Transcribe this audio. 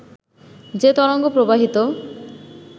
যে তরঙ্গ প্রবাহিত